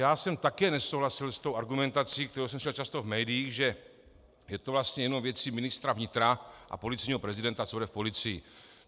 Já jsem také nesouhlasil s tou argumentací, kterou jsem slyšel často v médiích, že je to vlastně jenom věcí ministra vnitra a policejního prezidenta, co bude v policii.